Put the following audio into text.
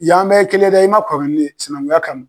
Ya an bɛɛ ye kelen ye dɛ i man kɔrɔ ni ne ye sinankunya kama.